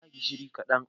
Eh na sa gishiri kaɗan.